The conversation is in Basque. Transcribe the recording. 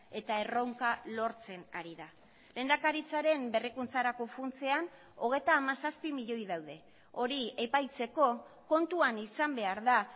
eta erronka lortzen ari da lehendakaritzaren berrikuntzarako funtsean hogeita hamazazpi milioi daude hori epaitzeko kontuan izan behar da